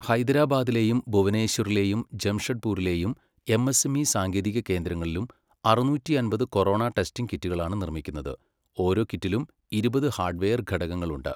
ഹൈദരാബാദിലെയും ഭുവനേശ്വറിലെയും ജംഷഡ്പൂരിലെയും എംഎസ്മി സാങ്കേതിക കേന്ദ്രങ്ങലും അറുനൂറ്റി അമ്പത് കൊറോണ ടെസ്റ്റിംങ് കിറ്റുകളാണ് നിർമ്മിക്കുന്നത്. ഓരോ കിറ്റിലും ഇരുപത് ഹാഡ് വെയർ ഘടകങ്ങളുണ്ട്.